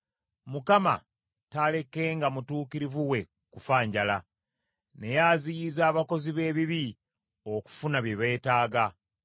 Mukama taalekenga mutuukirivu we kufa njala, naye aziyiza abakozi b’ebibi okufuna bye beetaaga.